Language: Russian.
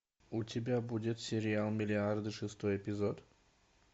у тебя будет сериал миллиарды шестой эпизод